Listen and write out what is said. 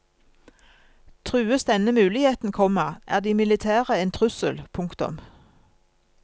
Trues denne muligheten, komma er de militære en trussel. punktum